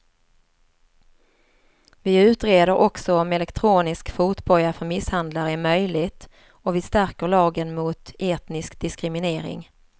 Vi utreder också om elektronisk fotboja för misshandlare är möjligt och vi stärker lagen mot etnisk diskriminering.